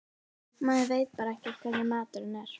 Maður veit bara ekki hvernig maturinn er.